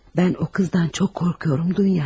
Mən o qızdan çox qorxuram, Dunya.